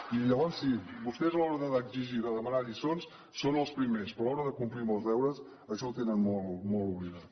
i llavors sí vostès a l’hora d’exigir i de demanar lliçons són els primers però a l’hora de complir amb els deures això ho tenen molt oblidat